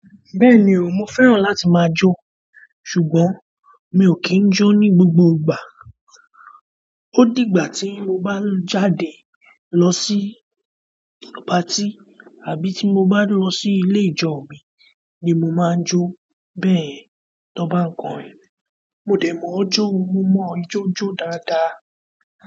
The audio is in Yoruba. Bẹ́ẹ̀ni o, mo fẹ́ràn láti máa jó ṣùgbọ́n mi ò kí ń jó ní gbogbo ìgbà. Ó di ìgbà tí mo bá jáde lọ sí patí àbí tí mo bá lọ sí ilé ijo mi ni mo máa ń jó. Bẹ́ẹ̀ni, tọ́'n bá n kọ̀rin, mo dẹ̀ mọ̀ ọ́ jó, mo mọ̀ ijó jó dáadáa.